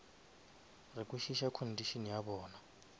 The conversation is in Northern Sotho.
re kwešiša condition ya bona